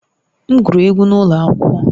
M gụrụ egwú n’ụlọ akwụkwọ